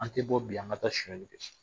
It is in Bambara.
An tɛ bɔ bi an ka taa sonyali kɛ